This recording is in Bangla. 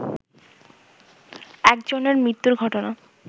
একজনের মৃত্যুর ঘটনা